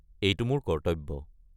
এইটো মোৰ কৰ্তব্য।